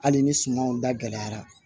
Hali ni sumanw da gɛlɛyara